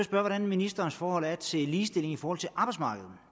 hvordan ministerens forhold er til ligestilling i forhold til arbejdsmarkedet